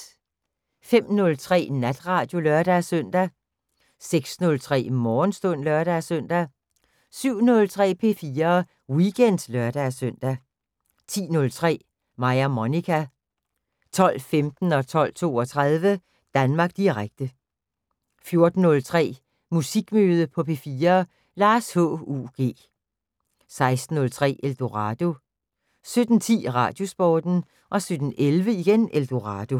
05:03: Natradio (lør-søn) 06:03: Morgenstund (lør-søn) 07:03: P4 Weekend (lør-søn) 10:03: Mig og Monica 12:15: Danmark Direkte 12:32: Danmark Direkte 14:03: Musikmøde på P4: Lars H.U.G. 16:03: Eldorado 17:10: Radiosporten 17:11: Eldorado